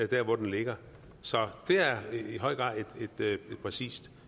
der hvor den ligger så det er i høj grad et præcist